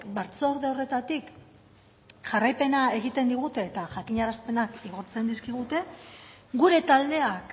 batzorde horretatik jarraipena egiten digute eta jakinarazpenak igortzen dizkigute gure taldeak